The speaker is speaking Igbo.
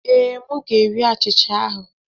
Ee, m ga-eri achịcha ahụ.